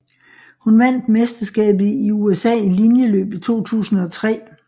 Hun vandt mesterskabet i USA i linjeløb i 2003